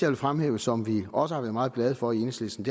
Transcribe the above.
vil fremhæve og som vi også har været meget glade for i enhedslisten